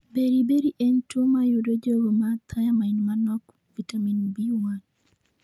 Beriberi en tuwo ma yudo jogo ma thiamine manok (vitamin B1).